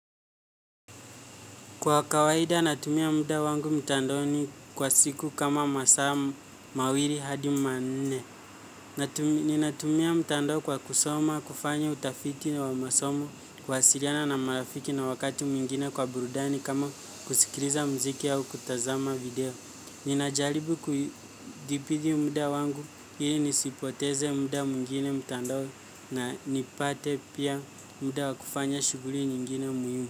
Kwa kawaida natumia muda wangu mtandaoni kwa siku kama masaa mawili hadi manne. Ninatumia mtandao kwa kusoma, kufanya utafiti na wa masomo, kuwasiliana na marafiki na wakati mwingine kwa burudani kama kusikiliza mziki au kutazama video. Ninajaribu kudhibiti muda wangu hili nisipoteze muda mwingine mtandaoni na nipate pia muda wa kufanya shuguli nyingine muhimu.